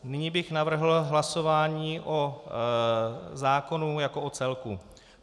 Nyní bych navrhl hlasování o zákonu jako o celku.